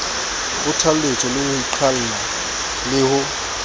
kgothaletswe ho iqalla le ho